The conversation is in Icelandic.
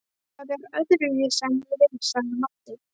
Það er öðruvísi en ég vil, sagði Marteinn.